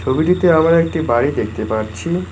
ছবিটিতে আমরা একটি বাড়ি দেখতে পাচ্ছি।